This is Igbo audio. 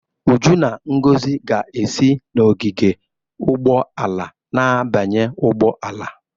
Uju na Ngozi ga-esi n'ogige ụgbọ ala na-abanye ụgbọ ala